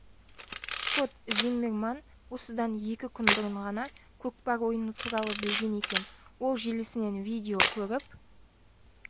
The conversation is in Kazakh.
скот зиммерман осыдан екі күн бұрын ғана көкпар ойыны туралы білген екен ол желісінен видео көріп